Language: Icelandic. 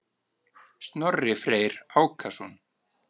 Snorri Freyr Ákason.